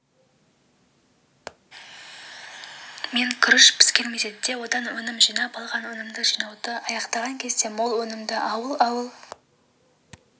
мен күріш піскен мезетте одан өнім жинап алған өнімді жинауды аяқтаған кезде мол өнімді ауыл-ауыл